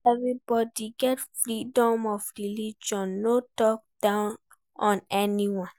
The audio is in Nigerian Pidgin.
Everybody get freedom of religion no talk down on any one